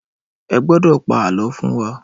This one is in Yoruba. Ẹ gbọ́dọ̀ pa àlọ́ fún wa lọ́la!